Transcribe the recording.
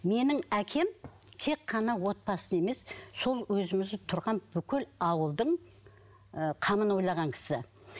менің әкем тек қана отбасыны емес сол өзіміз тұрған бүкіл ауылдың ы қамын ойлаған кісі